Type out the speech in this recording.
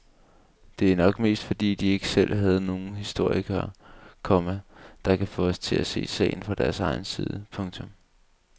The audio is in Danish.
Det er nok mest fordi de ikke selv havde nogle historikere, komma der kan få os til at se sagen fra deres side. punktum